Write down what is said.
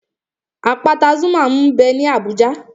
Àpáta Zuma m bẹ ní Abùjá